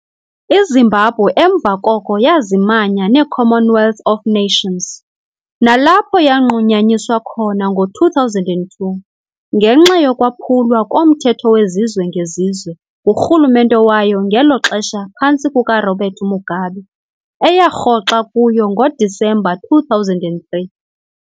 IZimbabwe emva koko yazimanya neCommonwealth of Nations, nalapho yanqunyanyiswa khona ngo 2002 ngenxa yokwaphulwa komthetho wezizwe ngezizwe ngurhulumente wayo ngelo xesha phantsi kukaRobert Mugabe. eyarhoxa kuyo ngoDisemba 2003.